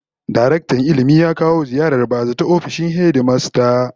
Daraktan Ilmi ya kawo ziyarar ba-zata ofishin hedimasta